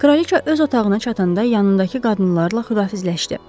Kraliça öz otağına çatanda yanındakı qadınlarla xudahafizləşdi.